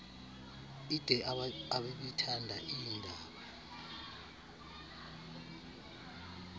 ide ababethanda iindaba